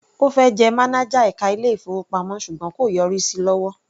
Ó fẹ́ jẹ mánájà ẹka ilé-ìfowópamọ́ ṣùgbọ́n kò yọrí sí lọ́wọ́.